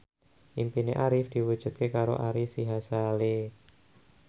impine Arif diwujudke karo Ari Sihasale